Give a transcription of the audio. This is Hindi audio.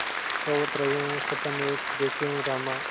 सोवत रहेउँ सपन एक देखेउँ रामा